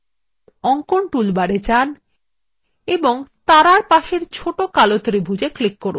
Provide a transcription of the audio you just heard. অঙ্কন toolbar যান এবং তারাএর পাশের ছোট কালো ত্রিভুজএ click করুন